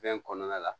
Fɛn kɔnɔna la